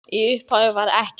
Í upphafi var ekkert.